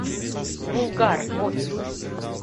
булгар офис